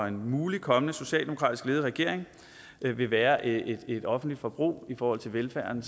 en mulig kommende socialdemokratisk ledet regering vil vil være et et offentligt forbrug i forhold til velfærden